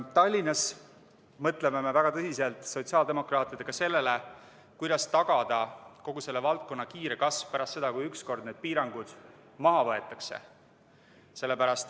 Tallinnas mõtlevad sotsiaaldemokraadid väga tõsiselt, kuidas tagada kogu selle valdkonna kiire kasv pärast seda, kui ükskord need piirangud maha võetakse.